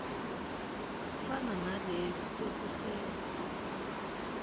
fana nalezi sekusele